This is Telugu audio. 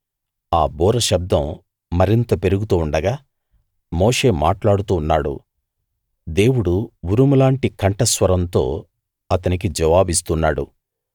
ఆ బూర శబ్దం మరింత పెరుగుతూ ఉండగా మోషే మాట్లాడుతూ ఉన్నాడు దేవుడు ఉరుములాంటి కంఠ స్వరంతో అతనికి జవాబిస్తున్నాడు